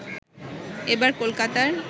এবার কলকাতার